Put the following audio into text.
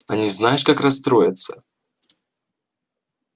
они знаешь как расстроятся